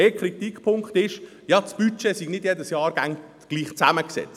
Ein Kritikpunkt ist, das Budget sei nicht jedes Jahr gleich zusammengesetzt.